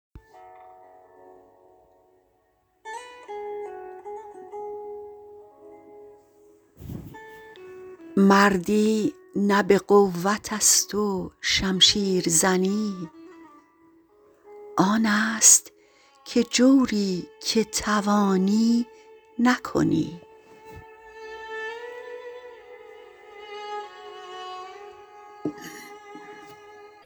مردی نه به قوتست و شمشیرزنی آنست که جوری که توانی نکنی